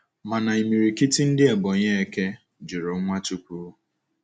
Mana imirikiti ndi Ebonyi eke juru Nwachukwu.